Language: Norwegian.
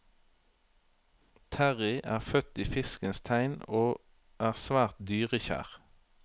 Terrie er født i fiskens tegn og er svært dyrekjær.